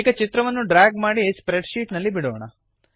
ಈಗ ಚಿತ್ರವನ್ನು ಡ್ರ್ಯಾಗ್ ಮಾಡಿ ಸ್ಪ್ರೆಡ್ ಶೀಟ್ ನಲ್ಲಿ ಬಿಡೋಣ